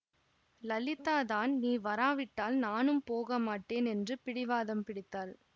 லலிதாதான் நீ வராவிட்டால் நானும் போகமாட்டேன் என்று பிடிவாதம் பிடித்தாள்